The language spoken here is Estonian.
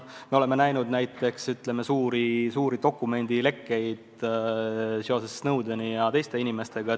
Me oleme näinud ulatuslikke dokumendilekkeid seoses Snowdeni ja teiste inimestega.